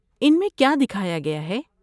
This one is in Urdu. ان میں کیا دکھایا گیا ہے؟